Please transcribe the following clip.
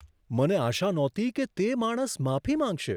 મને આશા નહોતી કે તે માણસ માફી માંગશે.